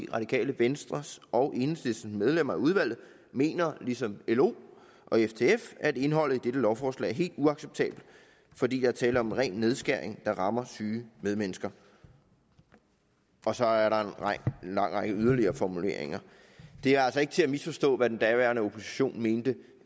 radikale venstres og enhedslistens medlemmer af udvalget mener ligesom lo og ftf at indholdet i dette lovforslag er helt uacceptabelt fordi der er tale om en ren nedskæring der rammer syge medmennesker og så er der en lang række yderligere formuleringer det er altså ikke til at misforstå hvad den daværende opposition mente